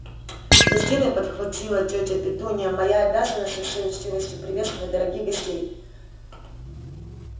в гостиной подхватила тётя петунья моя обязанность со всей учтивостью приветствовать дорогих гостей